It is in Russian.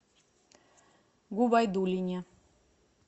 губайдуллине